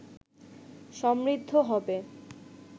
সমৃদ্ধ হবে